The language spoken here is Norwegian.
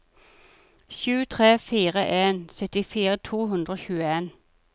sju tre fire en syttifire to hundre og tjueen